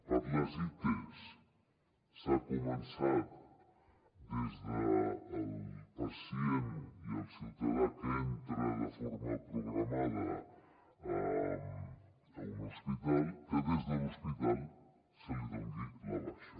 per a les its s’ha començat des del pacient i el ciutadà que entra de forma programada a un hospital que des de l’hospital se li doni la baixa